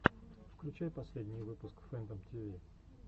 включай последний выпуск фэнтом тиви